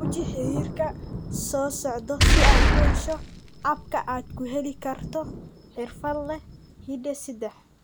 Guji xiriirka soo socda si aad u hesho agabka aad ku heli karto xirfadle hidde-sidaha.